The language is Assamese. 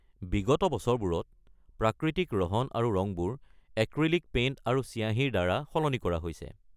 বিগত বছৰবোৰত, প্ৰাকৃতিক ৰহন আৰু ৰংবোৰ এক্ৰিলিক পেইণ্ট আৰু চিয়াঁহীৰ দ্বাৰা সলনি কৰা হৈছে।